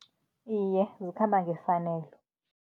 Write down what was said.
Iye, zikhamba ngefanelo.